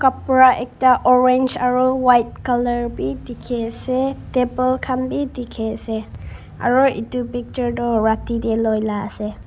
kapra ekta orange aro white color b dikhi ase table kan b dikhi ase aro etu picture tu rati de loi la ase.